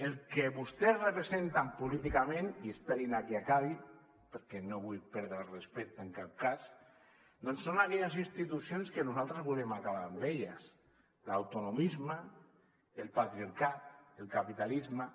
el que vostès representen políticament i esperin a que acabi perquè no vull perdre el respecte en cap cas doncs són aquelles institucions que nosaltres volem acabar amb elles l’autonomisme el patriarcat el capitalisme